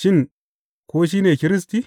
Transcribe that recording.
Shin, ko shi ne Kiristi?